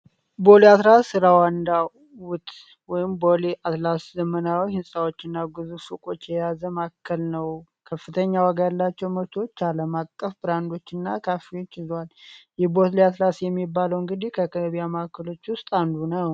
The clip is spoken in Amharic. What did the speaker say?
ቦሊ አትራስ ራዋንዳ ውት ቦሊ አትላስ ዘምናዊ ህንፃዎች እና ጉዙ ፉቆች የያዘም አከል ነው። ከፍተኛ መንገድ ያላቸው መርቶዎች አለም አቀፍ ብራንዶች እና ካፊዎች ይዟዋል። ይህቦት አትላስ የሚባለውን እግዲህ ከከቢያ ማከሎች ውስጥ አንዱ ነው።